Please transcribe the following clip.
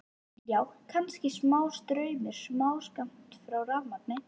Já, kannski smástraum, smáskammt af rafmagni.